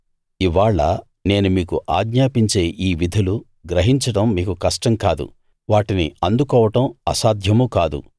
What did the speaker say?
ఇవ్వాళ నేను మీకు ఆజ్ఞాపించే ఈ విధులు గ్రహించడం మీకు కష్టం కాదు వాటిని అందుకోవడం అసాధ్యమూ కాదు